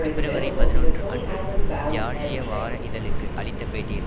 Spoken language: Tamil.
பிப்ரவரி பதினொன்று அன்று ஜியார்ஜிய வார இதழுக்கு அளித்தபேட்டியில்